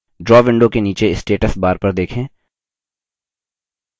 draw window के नीचे status bar पर देखें